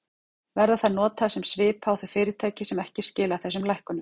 Verða þær notaðar sem svipa á þau fyrirtæki sem ekki skila þessum lækkunum?